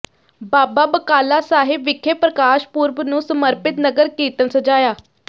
ਬਾਬਾ ਬਕਾਲਾ ਸਾਹਿਬ ਵਿਖੇ ਪ੍ਰਕਾਸ਼ ਪੁਰਬ ਨੂੰ ਸਮਰਪਿਤ ਨਗਰ ਕੀਰਤਨ ਸਜਾਇਆ